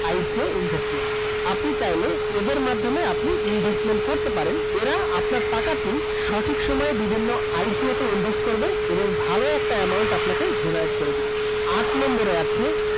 ICOinvestment আপনি চাইলে এদের মাধ্যমে আপনি investment করতে পারেন। এরা আপনার টাকাটি সঠিক সময়ে বিভিন্ন ICO তে invest করবে এবং ভাল একটা amount আপনাকে derive করে দিবে।